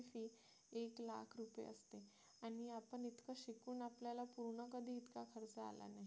एक लाख रुपये असते आणि आपण इतका शिकून आपल्याला पूर्ण कधी इतका खर्च आला नाही